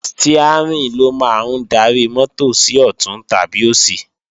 Stiárìn ló máa ń darí mọ́tò sí ọ̀tún tàbí òsì